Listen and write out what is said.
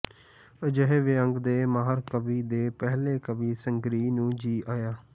ਅਜਿਹੇ ਵਿਅੰਗ ਦੇ ਮਾਹਿਰ ਕਵੀ ਦੇ ਪਹਿਲੇ ਕਾਵਿ ਸੰਗ੍ਰਹਿ ਨੂੰ ਜੀ ਆਇਆਂ